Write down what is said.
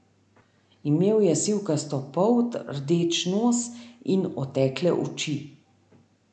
Imel je sivkasto polt, rdeč nos in otekle oči.